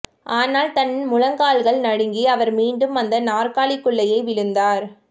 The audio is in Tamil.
ஆனால் தன் முழங்கால்கள் நடுங்கி அவர் மீண்டும் அந்த நாற்காலிக்குள்ளேயே விழுந்தார்